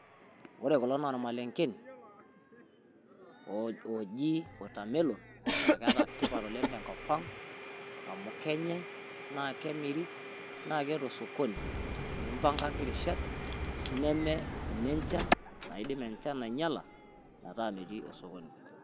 Ore kuloo naa maleng'een o oji watermelon naa keeta tipaat oleng to nkopang amu kenyaai na kemerii naa keoto sokoni, tini imbang'aaki rishaat naa mee nee nchaan naidim enchaan ainyalaa, etaa mejii osokoni.